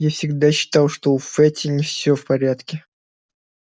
я всегда считал что у фэтти не всё в порядке